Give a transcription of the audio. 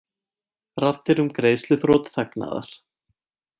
Raddir um greiðsluþrot þagnaðar